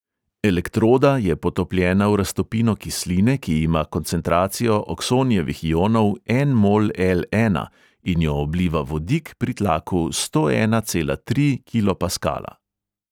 Elektroda je potopljena v raztopino kisline, ki ima koncentracijo oksonijevih ionov en mol el| ena in jo obliva vodik pri tlaku sto ena cela tri kilopaskala.